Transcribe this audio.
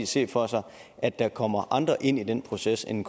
se for sig at der kommer andre med ind i den proces end